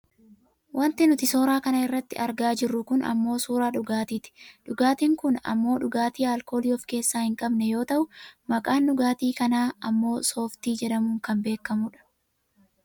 Wanti nuti suuraa kanarratti argaa jirru kun ammoo suuraa dhugaatiiti. Dhugaatiin kun ammoo dhugaatii aalkoolii of keessaa hin qabne yoo ta'u maqaan dhugaatii kanaa kanaa ammoo soofii jedhamuun kan beekkamudha.